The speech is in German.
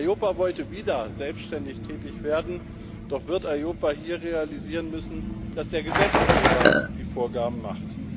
EIOPA wollte wieder selbständig tätig werden, doch wird EIOPA hier realisieren müssen, dass der Gesetzgeber die Vorgaben macht.